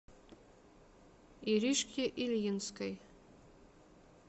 иришке ильинской